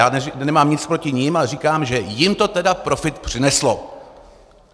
Já nemám nic proti nim, ale říkám, že jim to tedy profit přineslo.